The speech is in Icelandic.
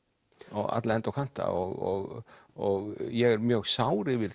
á alla enda og kanta og og ég er mjög sár yfir